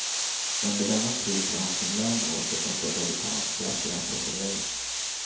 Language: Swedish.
Under denna tid får han sin lön oavsett om företaget tar hans krafter i anspråk eller ej.